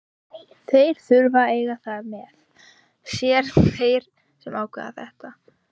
Þeir þurfa að eiga það með sér, þeir sem ákveða þetta.